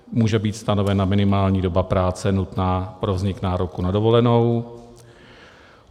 Může být stanovena minimální doba práce nutná pro vznik nároku na dovolenou.